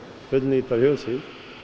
fullnýta fjósið